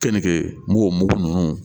Kɛnke n m'o mugu ninnu